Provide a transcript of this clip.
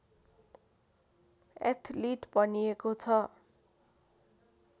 athlete भनिएको छ